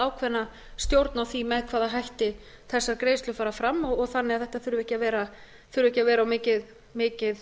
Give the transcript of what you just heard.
ákveðna stjórn á því með hvaða hætti þessar greiðslur fara fram þannig að þetta þurfi ekki að vera mikil